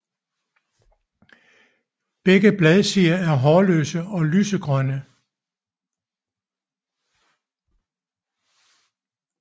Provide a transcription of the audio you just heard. Begge bladsider er hårløse og lysegrønne